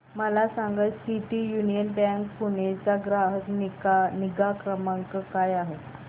मला सांगा city union bank Pune चा ग्राहक निगा क्रमांक काय आहे